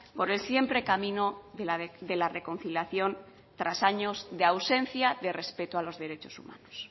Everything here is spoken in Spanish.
por el siempre camino de la reconciliación tras años de ausencia de respeto a los derechos humanos